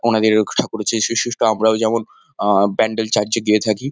ওনাদের ঠাকুর হচ্ছে যীশু। আমরাও যেমন আ- ব্যান্ডেল চার্চ -এ গিয়ে থাকি।